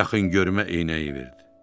yaxın görmə eynəyi verdi.